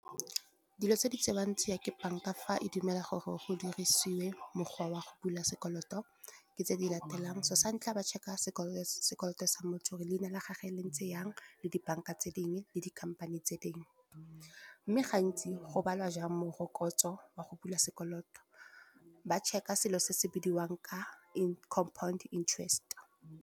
Dilo tse di tsewang tsia ke bank-a fa e dumela gore go dirisiwe mokgwa wa go bula sekoloto, ke tse di latelang. Sa ntlha ba check-a sekoloto sa motho gore leina la gagwe le ntse jang, le di bank-a tse dingwe le di-company tse dingwe. Mme gantsi go balwa jang morokotso wa go bula sekoloto, ba check-a selo se se bidiwang ka incompound interest.